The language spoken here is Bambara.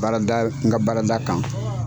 Baarada n ka baarada kan.